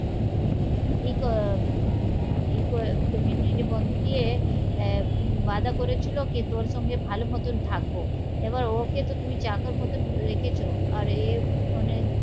এই এই তুমি নিজের বন্ধু দিয়ে আহ বাঁধা করেছিল কি তোর সঙ্গে ভালো মতন থাকবো এবার ওকে তো তুমি চাকার মতন রেখেছো আর এ মানে